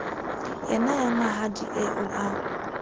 yane ya mahadi eo e